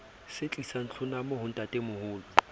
se tlisang tlhonamo ho ntatemoholo